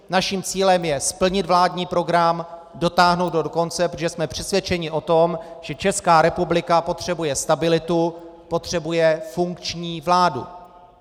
Naším cílem je splnit vládní program, dotáhnout ho do konce, protože jsme přesvědčeni o tom, že Česká republika potřebuje stabilitu, potřebuje funkční vládu.